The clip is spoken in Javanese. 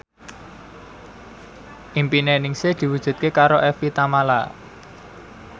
impine Ningsih diwujudke karo Evie Tamala